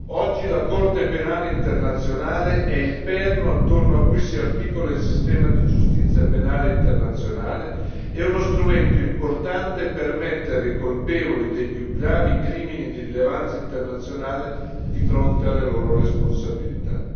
Oggi la Corte penale internazionale è il perno attorno a cui si articola il sistema di giustizia penale internazionale e uno strumento importante per mettere i colpevoli dei più gravi crimini di rilevanza internazionale di fronte alle loro responsabilità.